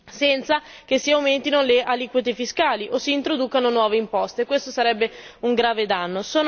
senza che si aumentino le aliquote fiscali o si introducano nuove imposte, il che sarebbe un grave danno.